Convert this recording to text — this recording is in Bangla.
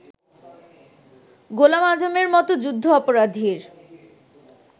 গোলাম আযমের মতো যুদ্ধাপরাধীর